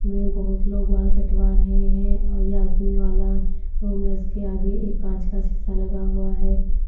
में बहुत लोग बाल कटवा रहे हैं और ये आदमी वाला रूम में इसके आगे एक कांच का शीशा लगा हुआ है।